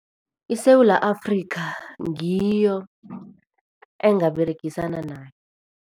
ISewula Afrika ngiyo engaberegisana nayo.